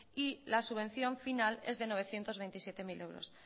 y la subvención final es de novecientos veintisiete mil euros